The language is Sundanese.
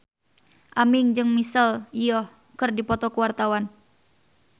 Aming jeung Michelle Yeoh keur dipoto ku wartawan